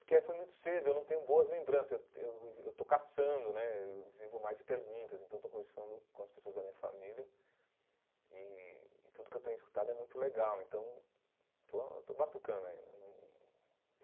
Porque eh foi muito cedo, eu não tenho boas lembranças, eu eu estou caçando né, eu vivo mais de perguntas, então estou conversando com as pessoas da minha família e e tudo que eu tenho escutado é muito legal, então estou estou batucando ainda.